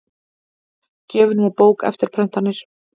Gjöfin var bók, eftirprentanir